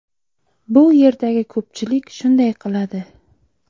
Bu yerdagi ko‘pchilik shunday qiladi.